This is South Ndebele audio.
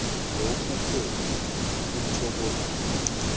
lokhuke kutjho bona